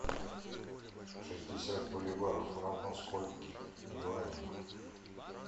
шестьдесят боливаров равно скольки юаням